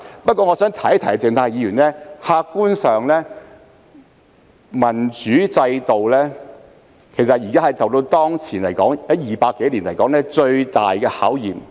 不過，我想提醒鄭松泰議員，客觀上，民主制度當前正經歷200多年來最大的考驗。